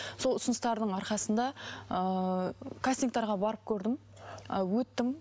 сол ұсыныстардың арқасында ыыы кастингтерге барып көрдім ы өттім